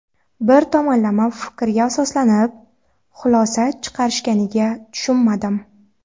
Bir tomonlama fikrlarga asoslanib, xulosa chiqarishganiga tushunmadim.